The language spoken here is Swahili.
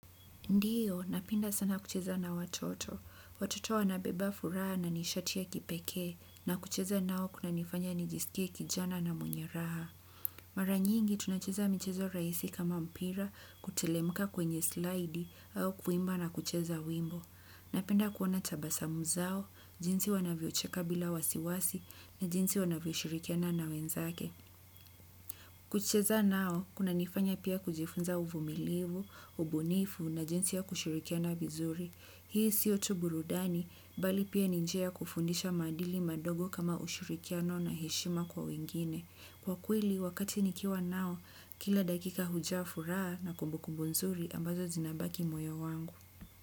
Ndiyo, napenda sana kucheza na watoto. Watoto wanabeba furaha na nishati ya kipekee na kucheza nao kuna nifanya nijisikie kijana na mwenye raha. Mara nyingi, tunacheza michezo rahisi kama mpira kuteremka kwenye slidi au kuimba na kucheza wimbo. Napenda kuona tabasamu zao, jinsi wanavyo cheka bila wasiwasi na jinsi wanavyo shirikiana na wenzake. Kucheza nao kuna nifanya pia kujifunza uvumilivu, ubunifu na jinsi ya kushirikiana vizuri. Hii sio tu burudani, bali pia ni njia ya kufundisha maadili madogo kama ushirikiano na heshima kwa wengine. Kwa kweli, wakati nikiwa nao, kila dakika hujaa furaha na kumbukumbu nzuri ambazo zinabaki moyo wangu.